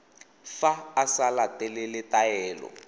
fa a sa latele taelo